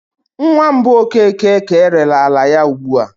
Nwa mbụ Okeke ka erere ala ya ugbu a.